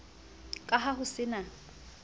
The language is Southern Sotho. ka ha ho se na